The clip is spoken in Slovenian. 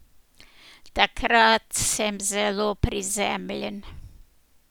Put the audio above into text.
Takrat sem zelo prizemljen.